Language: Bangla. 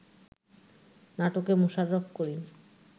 নাটকে মোশাররফ করিম